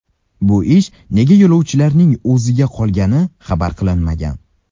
Bu ish nega yo‘lovchilarning o‘ziga qolgani xabar qilinmagan.